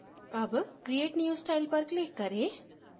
अब create new style पर click करें